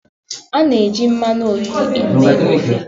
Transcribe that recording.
A na-eji mmanụ oriri eme ofe.